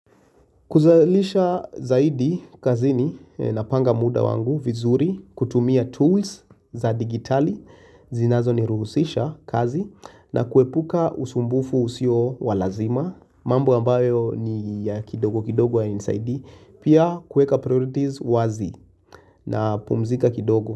Kuzalisha zaidi kazini napanga muda wangu vizuri, kutumia tools za digitali, zinazo ni ruhusisha kazi na kuepuka usumbufu usio walazima, mambo ambayo ni ya kidogo kidogo ya nisaidia, pia kuweka priorities wazi na pumzika kidogo.